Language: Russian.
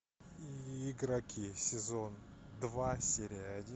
игроки сезон два серия один